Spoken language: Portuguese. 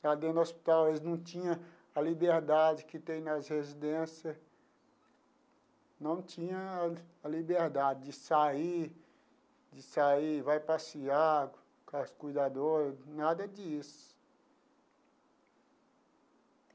Lá dentro do hospital, eles não tinha a liberdade que tem nas residência, não tinha a a liberdade de sair, de sair, vai passear com as cuidadoras, nada disso.